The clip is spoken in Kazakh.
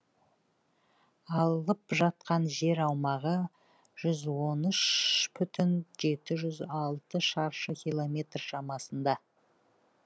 алып жатқан жер аумағы жүз он үш бүтін жеті жүз алты шаршы километр шамасында